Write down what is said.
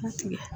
Mun tigɛ